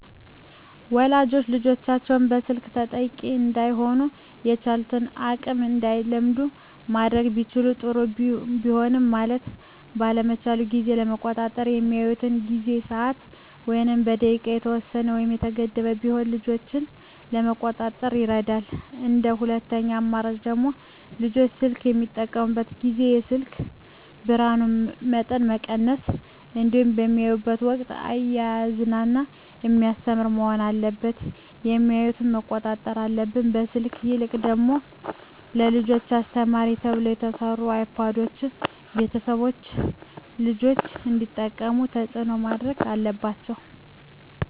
ወላጆች ልጆቻቸውን የስልክ ተጠቂ እዳይሆኑ በቻሉት አቅም እንዳይለምዱ ማድረግ ቢችሉ ጥሩ ቢሆንም ማየት ባለባቸው ጊዜ ለመቆጣጠር በሚያዩበት ጊዜ በሰዓት ወይም በደቂቃ የተወሰነ ወይም የተገደበ ቢሆን ልጆችን ለመቆጣጠር ይረዳል እንደ ሁለተኛ አማራጭ ደግሞ ልጆች ስልክ በሚጠቀሙበት ጊዜ የስልኩን የብርሀኑን መጠን መቀነስ እንዲሁም በሚያዩበት ወቅትም እያዝናና በሚያስተምር መሆን አለበት የሚያዮትን መቆጣጠር አለብን። ከስልክ ይልቅ ደግሞ ለልጆች አስተማሪ ተብለው የተሰሩ አይፓዶችን ቤተሰቦች ልጆች እንዲጠቀሙት ተፅዕኖ ማድረግ አለባቸው።